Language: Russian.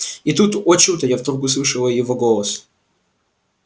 и тут о чудо я вдруг услышала его голос